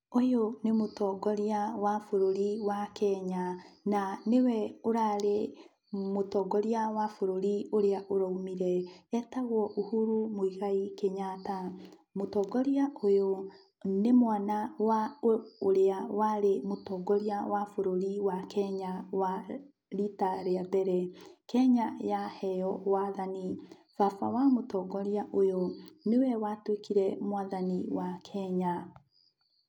Ũyũ nĩ mũtongoria wa bũrũri wa Kenya, na nĩwe ũrarĩ mũtongoria wa bũrũri ũrĩa ũroumire, etagwo Uhuru Muigai Kenyatta. Mũtongoria ũyũ nĩ mwana wa ũrĩa warĩ mũtongoria wa bũrũri wa kenya wa rita rĩa mbere. Kenya yaheywo wathani, baba wa mũtongoria ũyũ nĩwe watuĩkire mwathani wa Kenya.